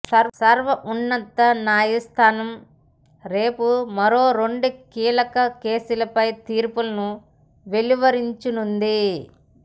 సర్వోన్నత న్యాయస్థానం రేపు మరో రెండు కీలక కేసులపై తీర్పును వెలువరించనుంది